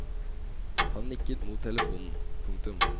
Han nikket mot telefonen. punktum